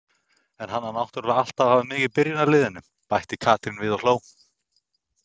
En hann á náttúrulega alltaf að hafa mig í byrjunarliðinu! bætti Katrín við og hló.